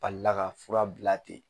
Balila ka fura bila ten.